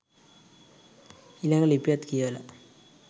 ඊළඟ ලිපියත් කියවලා